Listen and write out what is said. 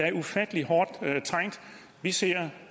er ufattelig hårdt trængt vi ser